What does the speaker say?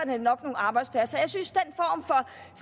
det nok nogle arbejdspladser jeg synes